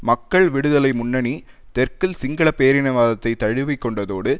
மக்கள் விடுதலை முன்னணி தெற்கில் சிங்கள பேரினவாதத்தைத் தழுவிக்கொண்டதோடு